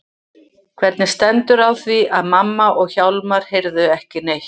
Hvernig stendur á því að mamma og Hjálmar heyrðu ekki neitt?